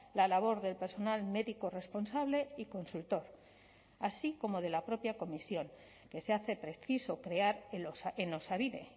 la labor del personal médico responsable y consultor así como de la propia comisión que se hace preciso crear en osabide